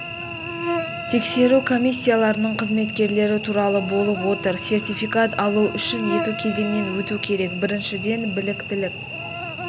тексеру комиссияларының қызметкерлері туралы болып отыр сертификат алу үшін екі кезеңнен өту керек біріншіден біліктілік